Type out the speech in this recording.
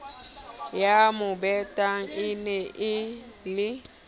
ya mobetano e ne e